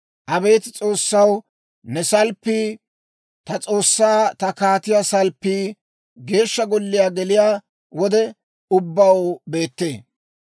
Abeet S'oossaw, ne salppii, ta S'oossaa ta kaatiyaa salppii, Geeshsha Golliyaa geliyaa wode ubbaw beettee.